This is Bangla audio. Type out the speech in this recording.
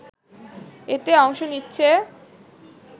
এতে অংশ নিচ্ছে